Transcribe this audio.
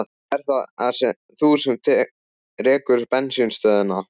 Ert það þú sem rekur bensínstöðina?